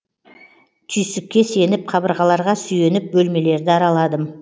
түйсікке сеніп қабырғаларға сүйеніп бөлмелерді араладым